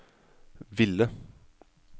ville